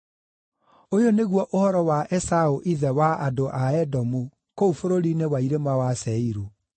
Ũyũ nĩguo ũhoro wa Esaũ ithe wa andũ a Edomu kũu bũrũri-inĩ wa irĩma wa Seiru.